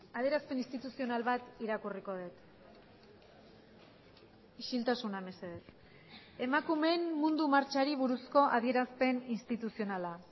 adierazpen instituzional bat irakurriko dut isiltasuna mesedez emakumeen mundu martxari buruzko adierazpen instituzionala